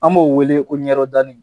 An b'o weele ko ɲɛrɔ dani